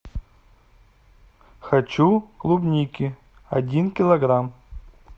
хочу клубники один килограмм